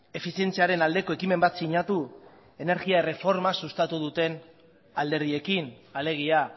efizientziaren aldeko ekimen bat sinatu energia erreforma sustatu duten alderdiekin alegia